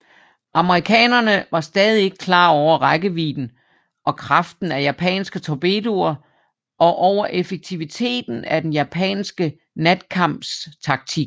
Amerikanerne var stadig ikke klar over rækkevidden og kraften af japanske torpedoer og over effektiviteten af den japanske natkampstaktik